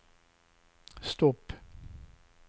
stopp